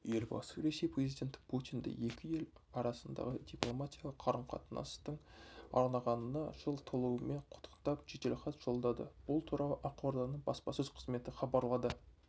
елбасы ресей президенті путинді екі ел арасындағы дипломатиялық қарым-қатынастың орнағанына жыл толуымен құттықтап жеделхат жолдады бұл туралы ақорданың баспасөз қызметі хабарлады